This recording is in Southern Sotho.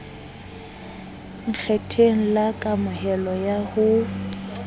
nkgetheng la kamohelo ya ho